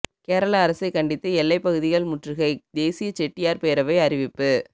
கேரள அரசை கண்டித்து எல்லை பகுதிகள் முற்றுகை தேசிய செட்டியாா் பேரவை அறிவிப்பு